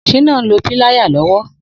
Shina n lò pìláyá lọwọ